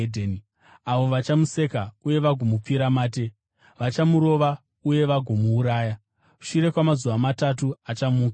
avo vachamuseka uye vagomupfira mate, vachamurova uye vagomuuraya. Shure kwamazuva matatu, achamuka.”